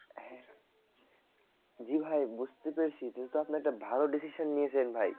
জি ভাই বুঝতে পেরেছি কিন্তু আপনি একটা ভালো decision নিয়েছেন ভাই